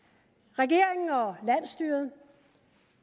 regeringen og landsstyret